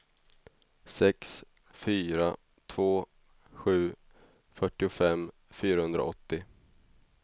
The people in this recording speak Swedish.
sex fyra två sju fyrtiofem fyrahundraåttio